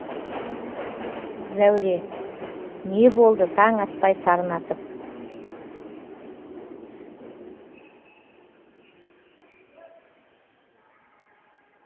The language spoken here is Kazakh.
зәуре не болды таң атпай сарнатып